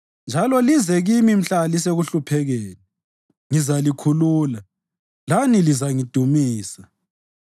njalo lize kimi mhla lisekuhluphekeni; ngizalikhulula, lani lizangidumisa.”